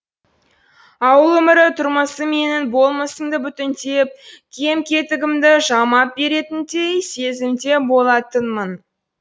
ауыл өмірі тұрмысы менің болмысымды бүтіндеп кем кетігімді жамап беретіндей сезімде болатынмын